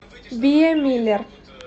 биа миллер